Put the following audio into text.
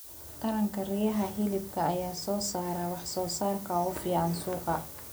Taranka riyaha hilibka ayaa soo saara wax soo saarka ugu fiican suuqa.